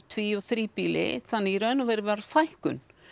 tví og þríbýli þannig að í raun og veru varð fækkun